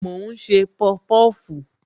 Mo ń ṣe pọpọfu